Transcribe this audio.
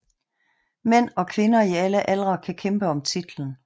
Mænd og kvinder i alle aldre kan kæmpe om titlen